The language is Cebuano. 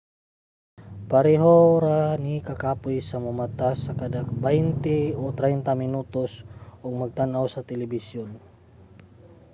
pareho ra ni kakapoy sa momata ka sa kada baynte o traynta minutos ug magtan-aw sa telebisyon